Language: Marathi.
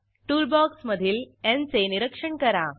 टूल बॉक्समधील न् चे निरीक्षण करा